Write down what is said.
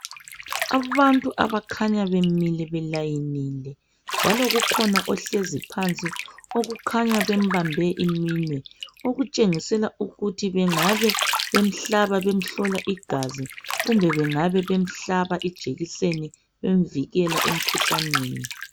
Abantu abakhanya belayinile njalo ukhona ohlezi phansi okukhanya bembambe iminwe okutshengisela ukuthi bengabe bemhlaba bemhlola igazi kumbe bengaba bemhlaba ijekiseni bemvikela emkhuhlaneni.